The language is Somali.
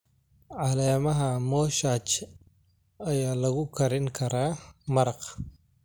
Caleemaha moshach ayaa lagu karin karaa maraq.